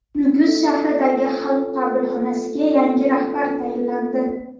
Nukus shahridagi Xalq qabulxonasiga yangi rahbar tayinlandi.